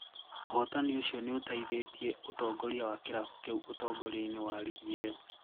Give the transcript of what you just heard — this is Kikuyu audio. ũhotanĩ ũcio niũtaithĩtie ũtongoria wa kĩrabu kiu ũtongoria-inĩ wa rigi iyo.